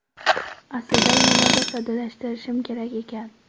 Aslida yanada soddalashtirishim kerak ekan.